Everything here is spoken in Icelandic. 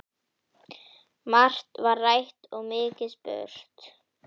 Margt var rætt og mikið spurt.